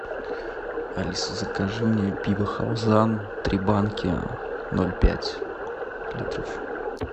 алиса закажи мне пиво халзан три банки ноль пять литров